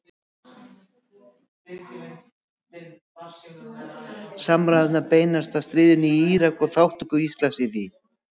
Samræðurnar beinast að stríðinu í Írak og þátttöku Íslands í því.